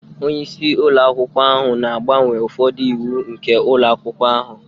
Onye isi ụlọ akwụkwọ ọhụrụ ahụ na-agbanwe ụfọdụ iwu nke ụlọ akwụkwọ ahụ